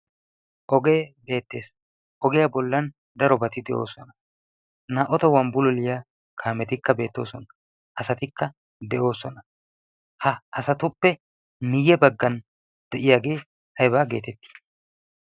ogee beettees ogiyaa bollan daro bati de'oosona naa''u tohuwa bulliyaa kaametikka beettoosona asatikka de'oosona ha asatuppe miyye baggan de'iyaagee ha aybaa geetettii